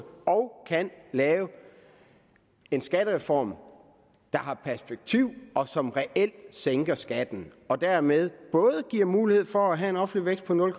kan lave en skattereform der har perspektiv og som reelt sænker skatten og dermed giver mulighed for både at have en offentlig vækst på nul